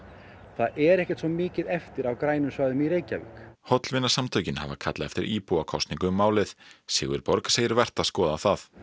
það er ekkert svo mikið eftir af grænum svæðum í Reykjavík hollvinasamtökin hafa kallað eftir íbúakosningu um málið Sigurborg segir vert að skoða það